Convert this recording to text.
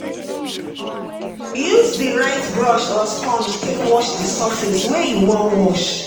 Use di right brush or sponge take wash di surface wey you wan wash